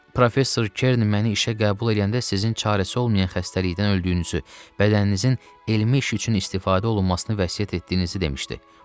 Professor Kern məni işə qəbul eləyəndə sizin çarəsi olmayan xəstəlikdən öldüyünüzü, bədəninizin elmi iş üçün istifadə olunmasını vəsiyyət etdiyinizi demişdi.